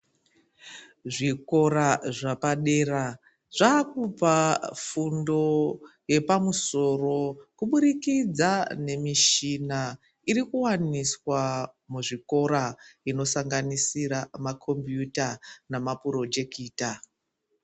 Zvikora zvapadera zvakupa fundo yepamusoro kubudikidza nemichina irikuwaniswa muzvikora inosanganisira ma kombiyuta nama purojekita.